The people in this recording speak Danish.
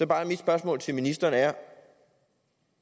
bare mit spørgsmål til ministeren er